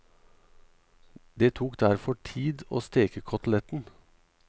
Det tok derfor tid å steke koteletten.